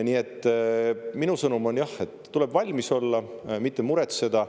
Nii et minu sõnum on, et tuleb valmis olla, mitte muretseda.